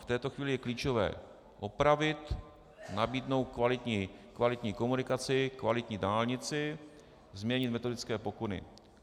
V této chvíli je klíčové opravit, nabídnout kvalitní komunikaci, kvalitní dálnici, změnit metodické pokyny.